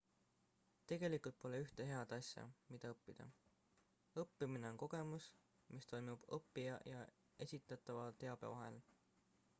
tegelikult pole ühte head asja mida õppida õppimine on kogemus mis toimub õppija ja esitatava teabe vahel